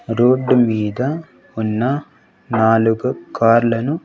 Road మీద ఉన్న నాలుగు కార్ లను.